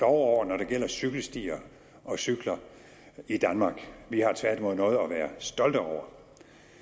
over når det gælder cykelstier og cykler i danmark vi har tværtimod noget at være stolte over